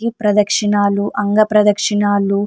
ఈ ప్రదక్షినాలు అంగ ప్రదక్షినాలు --